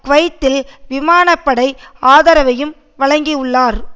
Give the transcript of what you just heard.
குவைத்தில் விமான படை ஆதரவையும் வழங்கியுள்ளார்